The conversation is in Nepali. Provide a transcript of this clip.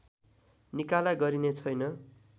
निकाला गरिने छैन